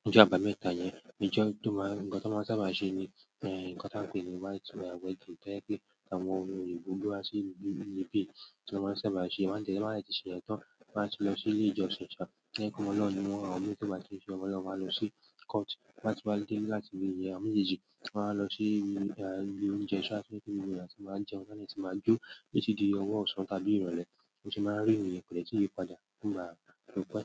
ní ọjọ́ àbámẹ́ta yẹn, ní ọjọ́ tó máa, nǹkan tó máa sábà ṣe ni, eh, nǹkan tí a ń pè ní white wedding. Tó jẹ́ pé àwọn ohun oyibo wá sí ibi, ibi pé tí wọ́n sábà ṣe, wọ́n máa tẹ̀lé, wọ́n máa lè ti ṣe yẹn tán. Wa tun lo si ile ìjọsìn, to je pe ọmọ Olorun ni won, àwọn imi ti won ba ki n se ọmọ Olorun, won lo si court ti won ba ti mo de, àwọn mejeji, won wa lo si ibi oúnjẹ sha, nibi gbogbo eeyan ti ma n jẹun, ti won de tun ma n jo, titi di owo osan tàbí ìrọ̀lẹ́. Ó ṣe máa rí ni yẹn ko dẹ́ sí iyipadà nígbà pipẹ́.